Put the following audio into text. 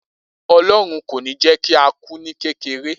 Olorun kò ní ni jé kí á kù ni kékeré